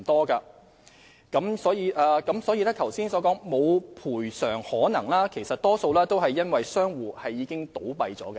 至於容議員剛才提到的"無賠償可能"的個案，大多由於相關商戶已經倒閉。